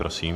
Prosím.